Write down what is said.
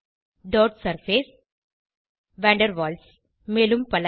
dot surface van der Waals மேலும் பல